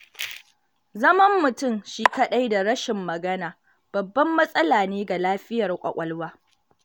Zaman mutum shi kaɗai da rashin magana, babban matsala ne ga lafiyar ƙwaƙwalwa.